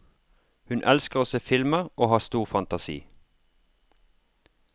Hun elsker å se filmer og har stor fantasi.